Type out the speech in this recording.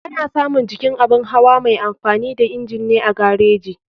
Ana samun jikin abun hawa mai amfani da inji ne a gareji.